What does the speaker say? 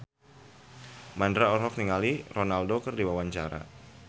Mandra olohok ningali Ronaldo keur diwawancara